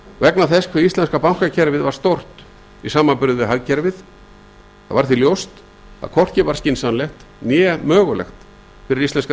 vegna þess hvað íslenska bankakerfið var stórt í samanburði við hagkerfið það var því ljóst að hvorki var skynsamlegt né mögulegt fyrir íslenska